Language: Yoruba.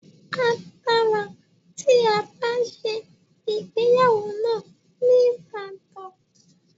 A dára tí a bá ṣe ìgbéyàwó náà ní Ibadan.